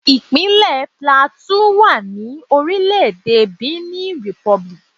Ìpínlẹ̀ Plateau wà ní orílẹ̀ẹ̀dè Benin Republic.